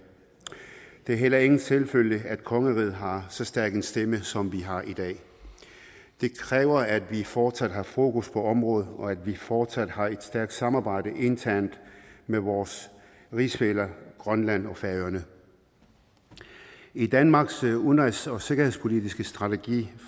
det er heller ingen selvfølge at kongeriget har så stærk en stemme som vi har i dag det kræver at vi fortsat har fokus på området og at vi fortsat har et stærkt samarbejde internt med vores rigsfæller grønland og færøerne i danmarks udenrigs og sikkerhedspolitiske strategi